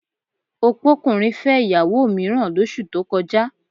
Opókùnrin fẹ́ ìyàwó mìíràn lóṣù tó kọjá